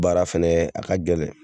Baara fana a ka gɛlɛn.